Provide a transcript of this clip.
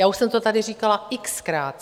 Já už jsem to tady říkala x-krát.